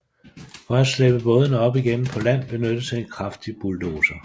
For at slæbe bådene op igen på land benyttes en kraftig bulldozer